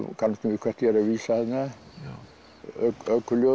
kannast nú við hvert ég er að vísa þarna